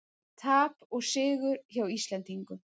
Tap og sigur hjá Íslendingum